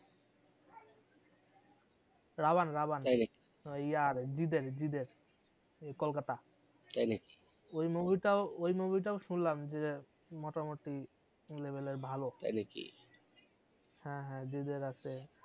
রাভান রাভান তাই নাকি ইয়ার জিৎ এর জিৎ এর কলকাতা তাই নাকি ওই movie টাও ওই movie শুনলাম যে মোটামুটি level এর ভালো তাই নাকি হ্যাঁ হ্যাঁ জিৎ এর আছে